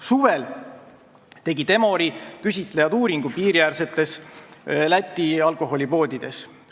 Suvel tegid Emori küsitlejad uuringu piiriäärsetes Läti alkoholipoodides.